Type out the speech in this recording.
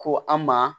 Ko an ma